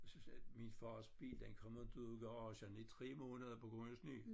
Så sagde min fars bil den kom inte ud af garagen i 3 måneder på grund af sne